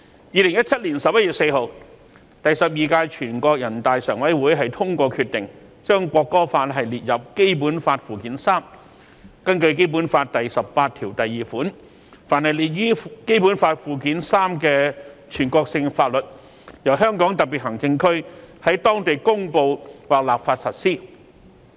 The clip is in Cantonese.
2017年11月4日，第十二屆全國人大常委會通過決定，將《國歌法》列入《基本法》附件三，根據《基本法》第十八條第二款，凡列於《基本法》附件三的全國性法律，由香港特別行政區在當地公布立法實施。